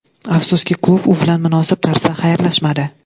Afsuski, klub u bilan munosib tarzda xayrlashmadi.